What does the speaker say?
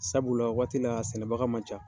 Sabula la o waati la a sɛnɛbaga man ca.